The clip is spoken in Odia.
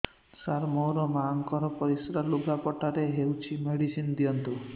ସାର ମୋର ମାଆଙ୍କର ପରିସ୍ରା ଲୁଗାପଟା ରେ ହଉଚି ମେଡିସିନ ଦିଅନ୍ତୁ